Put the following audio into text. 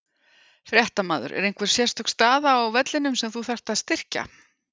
Fréttamaður: Er einhver sérstök staða á vellinum sem þú þarft að styrkja?